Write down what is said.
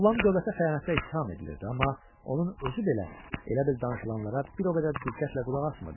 Oğlan dövlətə xəyanətdə ittiham edilirdi, amma onun özü belə elə bil danışılanlara bir o qədər də diqqətlə qulaq asmırdı.